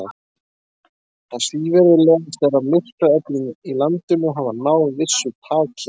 Það svívirðilegasta er, að myrkraöflin í landinu hafa náð vissu taki á.